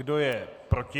Kdo je proti?